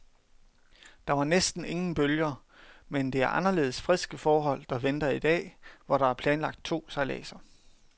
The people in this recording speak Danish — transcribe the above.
Der var næsten ingen bølger, men det er anderledes friske forhold, der venter i dag, hvor der er planlagt to sejladser.